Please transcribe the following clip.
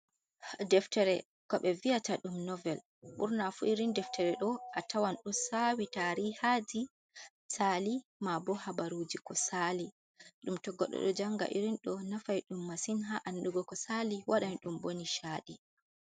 Deftere ko ɓe vi'ata dum novel. Ɓurna fu irin deftere ɗo a tawan do sawi tari haji sali, ma bo habaruji ko sali. Ɗo to goɗɗo ɗo janga irin ɗo nafai dum masin ha andugo ko sali, wadan dum bo nishadi.